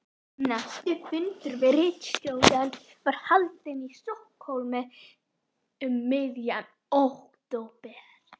Næsti fundur ritstjóranna var haldinn í Stokkhólmi um miðjan október